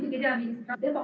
Tere hommikust!